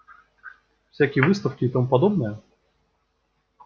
всякие выставки и тому подобное